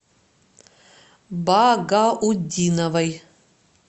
багаутдиновой